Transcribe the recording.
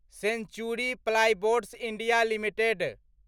century plyboards India limited